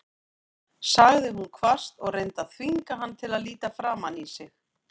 sagði hún hvasst og reyndi að þvinga hann til að líta framan í sig.